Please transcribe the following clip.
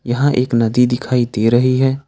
यहां एक नदी दिखाई दे रही है।